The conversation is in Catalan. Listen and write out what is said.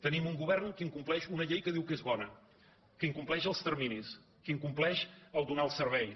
tenim un govern que incompleix una llei que diu que és bona que incompleix els terminis que incompleix el fet de donar els serveis